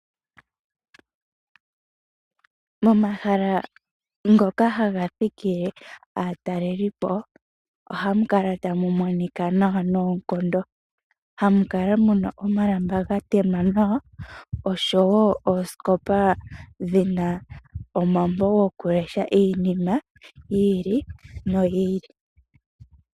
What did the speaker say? Momahala ngoka haga thikile aatalelipo ohamu kala tamu monika nawa noonkondo. Hamu kala muna omalamba ga tema nawa oshowo oosikopa dhina omambo goku lesha iinima yi ili noyi ili.